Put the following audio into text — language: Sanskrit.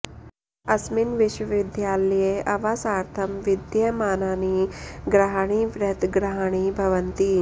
अस्मिन् विश्वविद्यालये अवासार्थं विद्यमानानि गृहाणि बृहत् गृहाणि भवन्ति